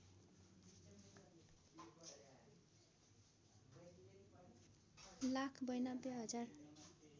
लाख ९२ हजार